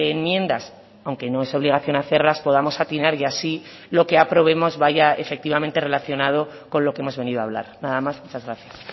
enmiendas aunque no es obligación hacerlas podamos atinar y así lo que aprobemos vaya efectivamente relacionado con lo que hemos venido a hablar nada más muchas gracias